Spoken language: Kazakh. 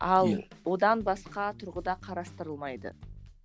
ал одан басқа тұрғыда қарастырылмайды